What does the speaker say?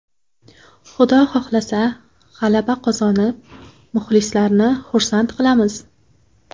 Xudo xohlasa, g‘alaba qozonib, muxlislarni xursand qilamiz.